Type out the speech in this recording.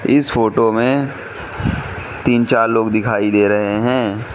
इस फोटो मे तीन चार लोग दिखाई दे रहे हैं।